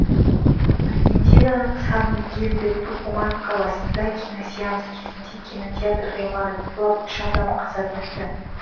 аргентинаның сан мигель де тукуман қаласында киносеанс кезінде кинотеатр ғимараты құлап үш адам қаза тапты